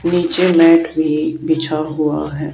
नीचे मैट भी बिछा हुआ है।